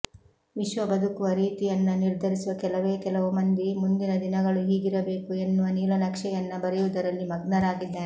ವಿಶ್ವ ಬದುಕುವ ರೀತಿಯನ್ನ ನಿರ್ಧರಿಸುವ ಕೆಲವೇ ಕೆಲವು ಮಂದಿ ಮುಂದಿನ ದಿನಗಳು ಹೀಗಿರಬೇಕು ಎನ್ನುವ ನೀಲನಕ್ಷೆಯನ್ನ ಬರೆಯುವುದರಲ್ಲಿ ಮಗ್ನರಾಗಿದ್ದಾರೆ